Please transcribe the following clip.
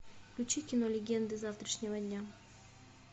включи кино легенды завтрашнего дня